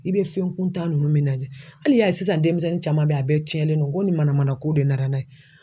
I bɛ fɛn kuntan ninnu min lajɛ hali sisan denmisɛnnin caman bɛ ye a bɛɛ cɛnen do n ko nin mana manako de nana n'a ye.